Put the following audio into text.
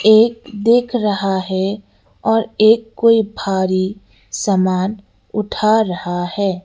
एक देख रहा है और एक कोई भारी सामान उठा रहा है।